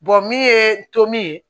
min ye tom ye